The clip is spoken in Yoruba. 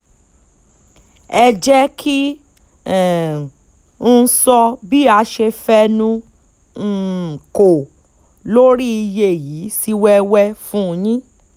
ẹ jẹ́ kí um n sọ bí a ṣe fẹnu um kò lórí iye yìí sí wẹ́wẹ́ fún yín